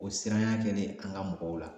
O siranya kɛlen an ka mɔgɔw la.